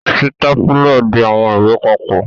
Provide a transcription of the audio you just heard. Sitapula ń di awọn iwe papọ.